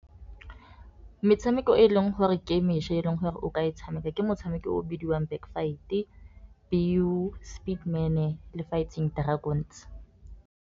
Metshameko e leng gore ke mešwa e leng gore o ka e tshameka, ke motshameko o o bidiwang back fight, pew, speedman le fighting dragons.